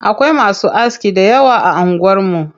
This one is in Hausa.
Akwai masu aski dayawa a anguwar mu.